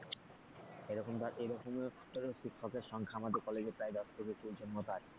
এরকম ধর এরকমই শিক্ষকের সংখ্যা আমাদের কলেজে প্রায় দশ থেকে কুড়ি জন মতো আছে।